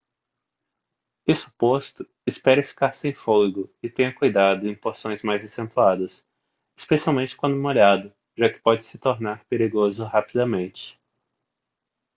isso posto espere ficar sem fôlego e tenha cuidado em porções mais acentuadas especialmente quando molhado já que pode se tornar perigoso rapidamente